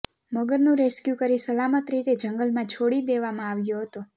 મગરનું rescue કરી સલામત રીતે જંગલમાં છોડી દેવામાં આવ્યો હતો